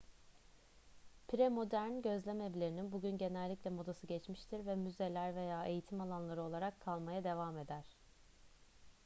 premodern gözlemevlerinin bugün genellikle modası geçmiştir ve müzeler veya eğitim alanları olarak kalmaya devam eder